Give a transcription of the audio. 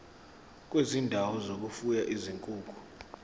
kwezindawo zokufuya izinkukhu